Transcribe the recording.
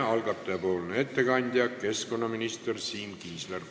Algataja nimel teeb ettekande keskkonnaminister Siim Kiisler.